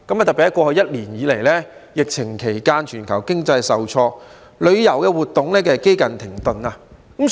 在過去一年以來，疫情期間，全球經濟受挫，旅遊活動幾近停頓。